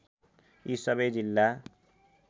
यी सबै जिल्ला